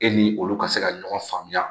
E ni olu ka se ka ɲɔgɔn faamuya